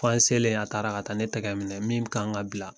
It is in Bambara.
Fan selen a taara ka taa ne tɛgɛ minɛ min kan ka bila